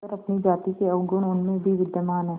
मगर अपनी जाति के अवगुण उनमें भी विद्यमान हैं